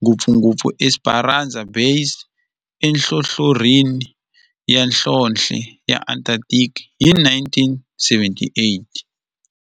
ngopfungopfu eEsperanza Base enhlohlorhini ya nhlonhle ya Antarctic hi 1978.